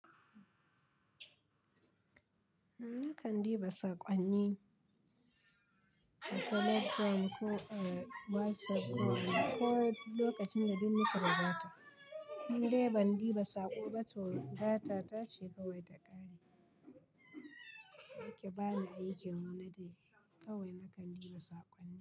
Nakan diba saƙonni a telegram ko a WhatsApp ko lokacin da duk naka bukata. Ni dai ban ɗiba saƙo ba toh data ta ce kawai ta ƙare. Ake bani aikin wane dai kawai nakan ɗiba saƙonni.